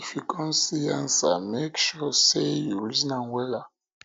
if yu con see ansa mek sure sey you reason am wella o